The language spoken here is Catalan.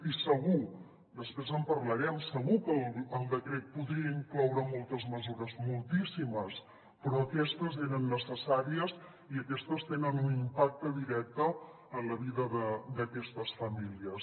i segur després en parlarem segur que el decret podria incloure moltes mesures moltíssimes però aquestes eren necessàries i aquestes tenen un impacte directe en la vida d’aquestes famílies